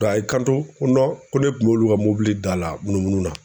Dɔ a y'i kanto ko ko ne kun b'olu ka mobili da la munumunu na